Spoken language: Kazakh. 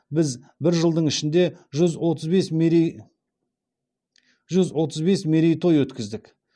біз бір жылдың ішінде жүз отыз бес мерей той өткіздік